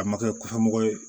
A ma kɛ kɔfɛ mɔgɔ ye